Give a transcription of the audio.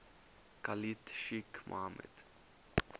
khalid sheikh mohammed